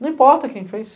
Não importa quem fez.